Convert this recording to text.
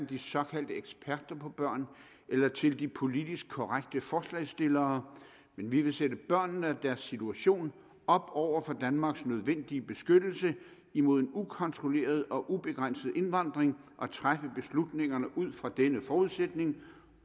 de såkaldte eksperter på børn eller til de politisk korrekte forslagsstillere vi vil sætte børnene og deres situation op over for danmarks nødvendige beskyttelse imod en ukontrolleret og ubegrænset indvandring og træffe beslutningerne ud fra denne forudsætning